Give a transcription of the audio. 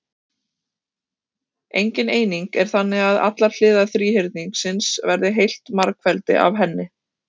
Engin eining er til þannig að allar hliðar þríhyrningsins verði heilt margfeldi af henni.